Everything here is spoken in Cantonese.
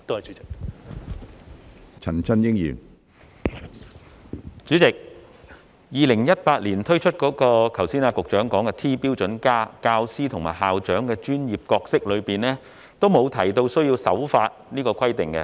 主席 ，2018 年推出了局長剛才說的 "T- 標準+"，但就教師和校長的專業角色方面，都沒有提到需要守法這個規定。